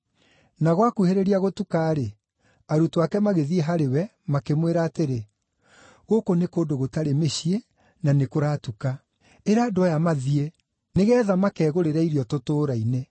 Na gwakuhĩrĩria gũtuka-rĩ, arutwo ake magĩthiĩ harĩ we, makĩmwĩra atĩrĩ, “Gũkũ nĩ kũndũ gũtarĩ mĩciĩ, na nĩkũratuka. Ĩra andũ aya mathiĩ, nĩgeetha makegũrĩre irio tũtũũra-inĩ.”